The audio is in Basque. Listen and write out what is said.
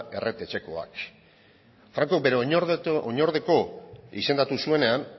erret etxekoak franco bere oinordeko izendatu zuenean